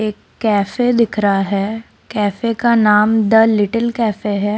एक कैफे दिख रहा है कैफे का नाम द लिटिल कैफ़े है।